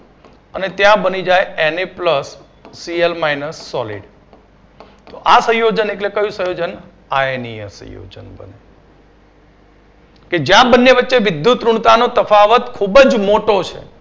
અને ત્યાં બની જાય N A plus CL minus solid આ સંયોજન એટલે કયું સંયોજન આઈડીયન સંયોજન કે જ્યાં પછી આ વચ્ચે વિદ્યુતઋણતાનો તફાવત ખૂબ જ મોટો છે.